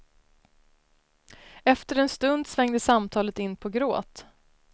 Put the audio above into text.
Efter en stund svängde samtalet in på gråt.